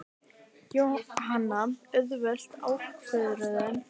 Jóhanna: Auðveld ákvörðun?